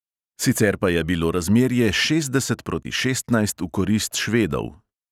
Sicer pa je bilo razmerje šestdeset proti šestnajst v korist švedov.